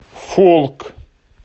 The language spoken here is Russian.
фолк